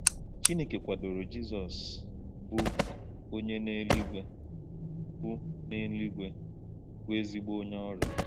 Chineke kwadoro Jizọs, bụ onye n’eluigwe bụ n’eluigwe bụ ezigbo onye ọrụ.